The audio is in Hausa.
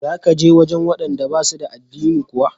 Za ka je wajen waɗanda ba su da addini kuwa?